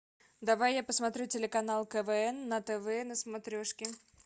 давай я посмотрю телеканал квн на тв на смотрешке